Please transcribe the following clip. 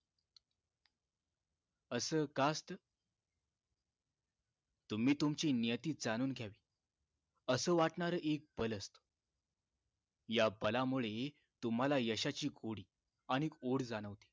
असं का असत तुम्ही तुमची नियती जाणून घ्यावी अस वाटणार एक बल असत या बलामुळे तुम्हाला यशाची गोडी आणि ओढ जाणवते